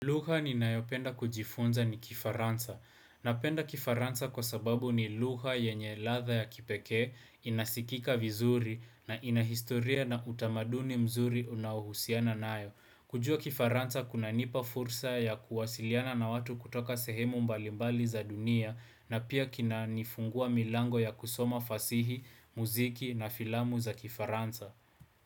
Lugha ninayopenda kujifunza ni kifaransa. Napenda kifaransa kwa sababu ni lugha yenye ladha ya kipekee, inasikika vizuri na ina historia na utamaduni mzuri unaohusiana nayo. Kujua kifaransa kunanipa fursa ya kuwasiliana na watu kutoka sehemu mbalimbali za dunia na pia kinanifungua milango ya kusoma fasihi, muziki na filamu za kifaransa.